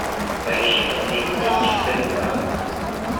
поищи последний день четыре к